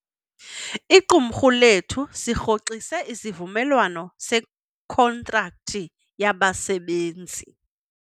Iqumrhu lethu sirhoxise isivumelwano sekhontrakthi yabasebenzi.